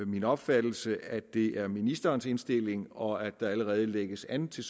min opfattelse at det også er ministerens indstilling og at der allerede lægges an til